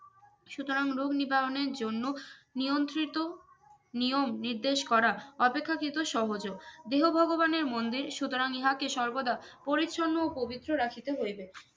সুতরাং রোগ নিবারণের জন্য নিয়ন্ত্রিত নিয়ম নির্দেশ করা অপেক্ষাকৃত সহজও দেহ ভগবান মন্দে সুতরাং ইহা কে সর্বদা পরিচ্ছন্ন ও পবিত্র রাখিতে হইবে